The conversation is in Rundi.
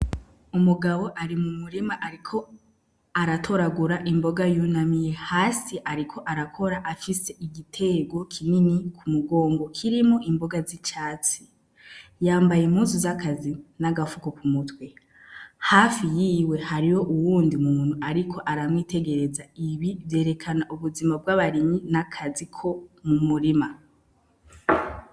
Umugabo ari mumurima ariko aratoragura imboga yunamye hasi ariko arakora afise igitego kinini k'umugongo kirimwo imboga z'icatsi. Yambaye impuzu z'akazi, n'agafuko k'umutwe. Hafi yiwe hariho uwundi muntu ariko aramwitegereza. Ibi vyerekana ubuzima bw'abarimyi n'akazi ko mumurima.